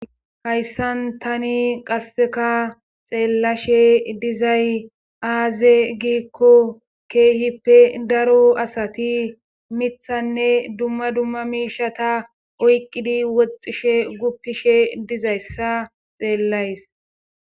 Hayssan tani qasseka xeellashe dizay aaze giikko keehippe daro asati mithanne dumma dumma miishata oyqqidi woxxishe guppishe dizayssa xeellays.